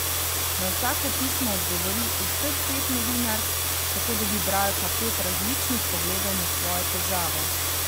Na vsako pismo odgovori vseh pet novinark, tako dobi bralka pet različnih pogledov na svojo težavo.